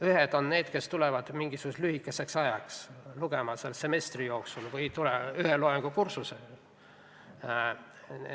Ühed on need, kes tulevad mingisuguseks lühikeseks ajaks, näiteks semestriks üht loengukursust lugema.